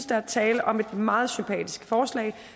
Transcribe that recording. der er tale om et meget sympatisk forslag